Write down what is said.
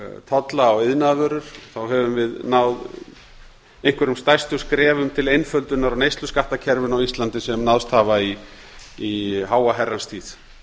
tolla á iðnaðarvörur höfum við náð einhverjum stærstu skrefum til einföldunar á neysluskattakerfinu á íslandi sem náðst hafa í háa herrans tíð